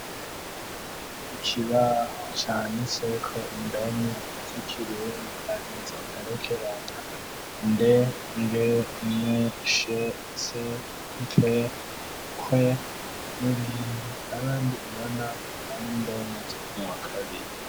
ikibaho canditseko indome z'ikirundi arizo mperekeranya nd ng ny ns mpf kwe n'ibindi kandi ubona ko ari indome zo mu wakabiri